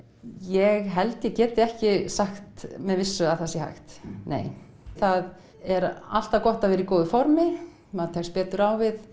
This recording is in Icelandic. ég held ég geti ekki sagt með vissu að það sé hægt það er alltaf gott að vera í góðu formi maður tekst betur á við